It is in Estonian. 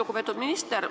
Lugupeetud minister!